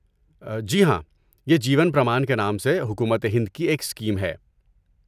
جی ہاں، یہ جیون پرمان کے نام سے حکومت ہند کی ایک اسکیم ہے۔